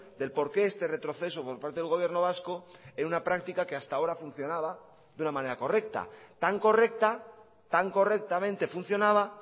del por qué este retroceso por parte del gobierno vasco en una práctica que hasta ahora funcionaba de una manera correcta tan correcta tan correctamente funcionaba